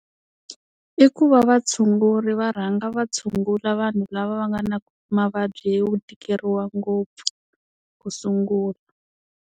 I ku va vatshunguri va rhanga va tshungula vanhu lava va nga na mavabyi yo tikeriwa ngopfu ku sungula.